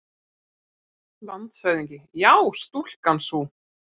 LANDSHÖFÐINGI: Já, stúlkan sú!